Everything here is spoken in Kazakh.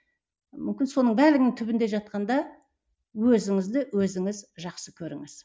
мүмкін соның бәрінің түбінде жатқанда өзіңізді өзіңіз жақсы көріңіз